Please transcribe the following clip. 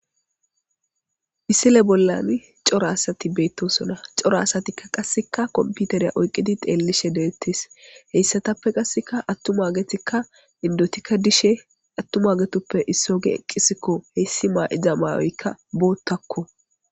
issile bollan coro asati beettosona coro asatikka qasseka komputeriya oyqqidi xeellishe deettis heyssatappe qasseka attumaagetikka indotikka dishe attumaagetoppe issoge eqqisikko heyssi maa7iza maayoykka boottakko